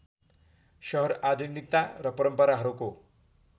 सहर आधुनिकता र परम्पराहरूको